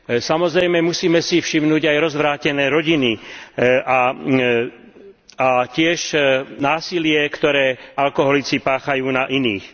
Samozrejme, musíme si všimnúť aj rozvrátené rodiny a tiež násilie, ktoré alkoholici páchajú na iných.